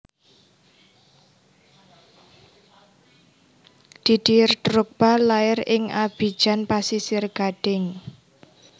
Didier Drogba lair ing Abidjan Pasisir Gading